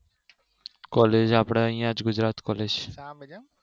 college આપડે અહિયાં Gujarat college